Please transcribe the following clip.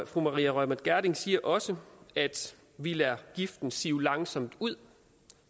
fru maria reumert gjerding siger også at vi lader giften sive langsomt ud